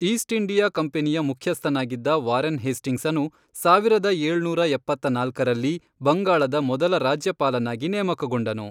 East India ಕಂಪನಿಯ ಮುಖ್ಯಸ್ಥನಾಗಿದ್ದ Warren ಹೇಸ್ಟಿಂಗ್ಸನು, ಸಾವಿರದ ಏಳುನೂರ ಎಪ್ಪತ್ನಾಲ್ಕರಲ್ಲಿ, ಬಂಗಾಳದ ಮೊದಲ ರಾಜ್ಯಪಾಲನಾಗಿ ನೇಮಕಗೊಂಡನು.